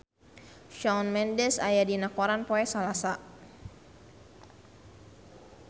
Shawn Mendes aya dina koran poe Salasa